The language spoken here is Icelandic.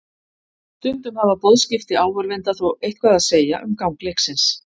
Stundum hafa boðskipti áhorfenda þó eitthvað að segja um gang leiksins.